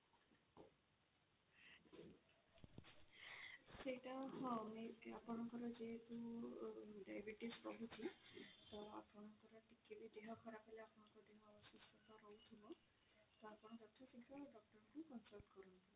ସେଇଟା ହଁ ଆପଣ ଆପଣଙ୍କର ଯେହେତୁ diabetes ରହୁଛି ତ ଆପଣଙ୍କର କିଛି ବି ଦେହ ଖରାବ ହେଲା ଆପଣଙ୍କ ଦେହ ଅସୁସ୍ଥ ରହୁଥିବ ତ ଆପଣ ଯଥା ଶୀଘ୍ର doctor କୁ consultation କରନ୍ତୁ।